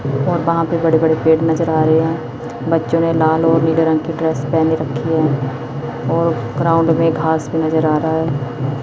और वहां पे बड़े बड़े पेड़ नजर आ रहे हैं बच्चों ने लाल और नीले रंग की ड्रेस पेहनी रखी है और ग्राउंड में घास भी नजर आ रहा है।